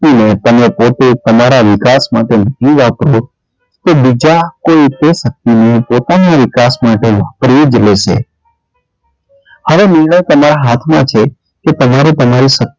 શક્તિ ને તમે પોતે તમારાં વિકાસ માટે નહીં વાપરો તો બીજા કોઈ તે શક્તિ ને પોતાના વિકાસ માટે વાપરી જ લેશે હવે નિર્ણય તમારાં હાથ માં છે કે તમારે તમારી શક્તિ ને,